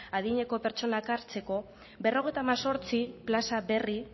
adineko pertsonak hartzeko berrogeita hemezortzi plaza berri